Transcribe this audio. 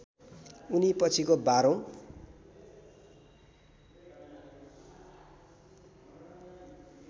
उनी पछिको १२ औँ